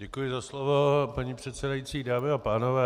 Děkuji za slovo, paní předsedající, dámy a pánové.